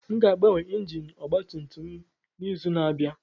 Aga m agbanwe injin ọgba tum tum a n'izu na-abịa